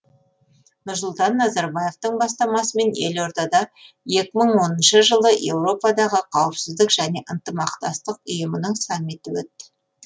нұрсұлтан назарбаевтың бастамасымен елордада екі мың оныншы жылы еуропадағы қауіпсіздік және ынтымақтастық ұйымының саммиті өтті